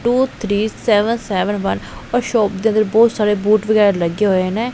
To three seven seven one ਉਹ shop ਦੇ ਵਿਚ ਬਹੁਤ ਸਾਰੇ ਬੋਡ ਵਗੈਰਾ ਲੱਗੇ ਹੋਏ ਨੇ।